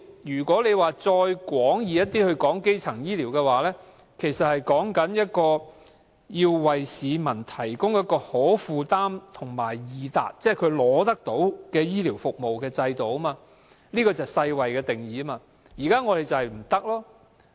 如果再廣義一點論基層醫療，其實是指為市民提供可負擔和易達，即能輕易取到的醫療服務的制度，這是世界衞生組織的定義。